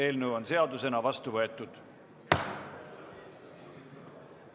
Eelnõu on seadusena vastu võetud!